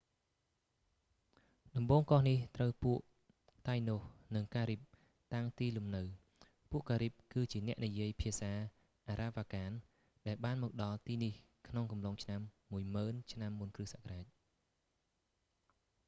ដំបូងកោះនេះ ត្រូវពួក តៃណូស និងការីប តាំងទីលំនៅ ពួកការីប គឺជាអ្នកនិយាយភាសាអារ៉ាវ៉ាកាន ដែលបានមកដល់ទីនេះក្នុងអំឡុងឆ្នាំ10,000 ឆ្នាំមុនគ្រីស្ទសករាជ្យ